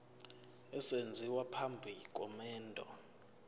esenziwa phambi komendo